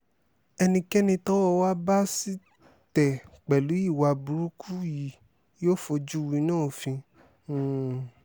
um ẹnikẹ́ni tọ́wọ́ wa bá sì tẹ̀ pẹ̀lú ìwà burúkú yìí yóò fojú winá òfin um